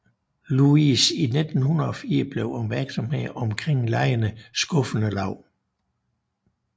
Louis i 1904 blev opmærksomheden omkring legene skuffende lav